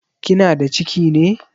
Kinada ciki ne?